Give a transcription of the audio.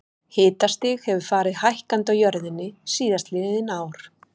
Hitastig hefur farið hækkandi á jörðinni síðastliðin ár.